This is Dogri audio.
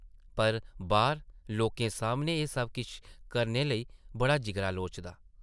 पर, बाह्र लोकें सामनै एह् सब किश करने लेई बड़ा जिगरा लोड़दा ।